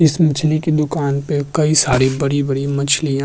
इस मछली की दुकान पे कई सारी बडी-बडी मछलियां --